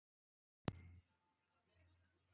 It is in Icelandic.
Jóhannes: Halló, hefur þú farið á hestbak áður?